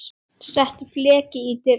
Settur fleki í dyrnar.